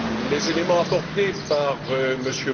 Les éléments apportés par